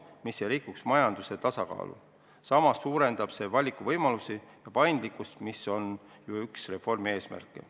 See ei rikuks majanduse tasakaalu ning suurendaks valikuvõimalusi ja paindlikkust, mis on üks reformi eesmärke.